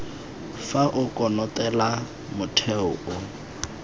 fa o konotelela motheo o